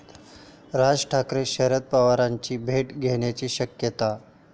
राज ठाकरे शरद पवारांची भेट घेण्याची शक्यता